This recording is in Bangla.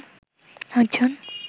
আট জন